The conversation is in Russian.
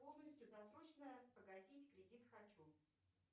полностью досрочно погасить кредит хочу